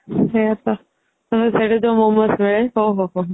ସେଇୟା ତ ସେଠିତ momos ମିଳେ ଓହୋ ହୋ